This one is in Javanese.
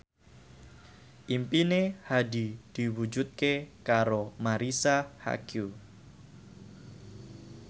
impine Hadi diwujudke karo Marisa Haque